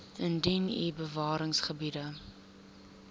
indien u bewaringsgebiede